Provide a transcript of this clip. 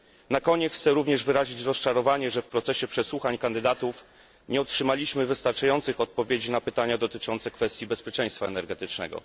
Na koniec chciałbym również wyrazić rozczarowanie, że w procesie przesłuchań kandydatów nie otrzymaliśmy wystarczających odpowiedzi na pytania dotyczące kwestii bezpieczeństwa energetycznego.